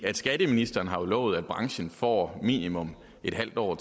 skatteministeren har jo lovet at branchen får minimum en halv år